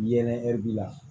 Yelen hɛri bi la